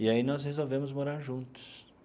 E, aí, nós resolvemos morar juntos.